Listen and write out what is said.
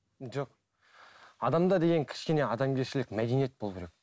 жоқ адамда деген кішкене адамгершілік мәдениет болу керек